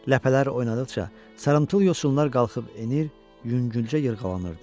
Ləpələr oynadıqca sarımtıl yosunlar qalxıb enir, yüngülcə yırğalanırdı.